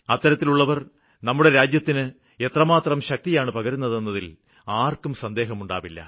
അത്തരത്തിലുള്ളവര് നമ്മുടെ രാജ്യത്തിന്റെ എത്രമാത്രം ശക്തിയാണ് പകരുന്നെന്നതില് ആര്ക്കും സന്ദേഹമുണ്ടാവില്ല